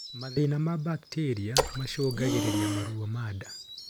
mathĩna ma bacterĩa macungagirirĩa maruo ma ndaa